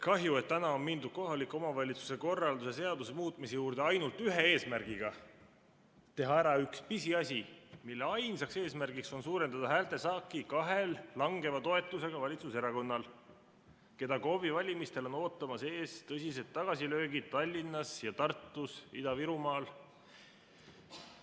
Kahju, et täna on mindud kohaliku omavalitsuse korralduse seaduse muutmise juurde ainult ühe eesmärgiga: teha ära üks pisiasi, mille ainsaks eesmärgiks on suurendada häältesaaki kahel langeva toetusega valitsuserakonnal, keda KOV‑i valimistel on ootamas ees tõsised tagasilöögid Tallinnas, Tartus ja Ida-Virumaal.